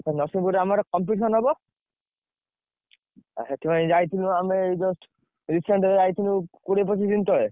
ନରସଂହପୁରରେ ଆମର competition ହବ ଏ ସେଥିପାଇଁ ଯାଇଥିଲୁ ଆମେ ଏଇ just recent ଏବେ ଯାଇଥିଲୁ କୋଡିଏ ପଚିଶ ଦିନ ତଳେ।